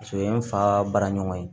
Paseke o ye n fa baara ɲɔgɔn ye